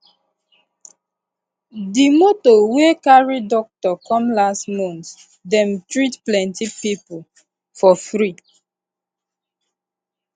the the moto wey carry doctor come last month dem treat plenty people for free